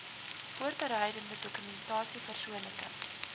voorbereidende dokumentasie persoonlike